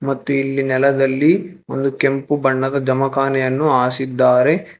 ಮತ್ತು ಇಲ್ಲಿ ನೆಲದಲ್ಲಿ ಒಂದು ಕೆಂಪು ಬಣ್ಣದ ಜಮಖಾನೆಯನ್ನು ಹಾರಿಸಿದ್ದಾರೆ.